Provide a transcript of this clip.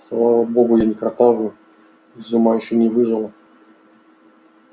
слава богу я не картавлю и из ума ещё не выжила